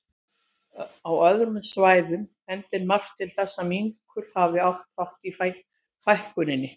Á öðrum svæðum bendir margt til þess að minkur hafi átt þátt í fækkuninni.